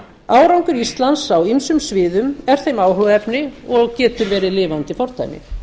árangur íslands á ýmsum sviðum er þeim áhugaefni og getur verið lifandi fordæmi